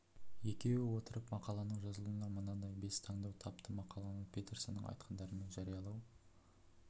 екеуі отырып мақаланың жазылуына мынадай бес таңдау тапты мақаланы петерсонның айтқандарымен жариялау